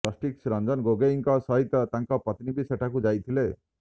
justice Ranjan ଗୋଗୋଇଙ୍କ ସହିତ ତାଙ୍କ ପତ୍ନୀ ବି ସେଠାକୁ ଯାଇଥିଲେ